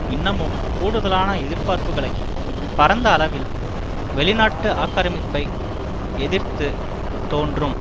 இன்னமும் கூடுதலான எதிர்பார்ப்புகளை பரந்த அளவில் வெளிநாட்டு ஆக்கிரமிப்பை எதிர்த்து தோன்றும்